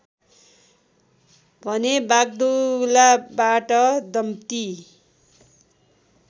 भने वाग्दुलाबाट दम्ति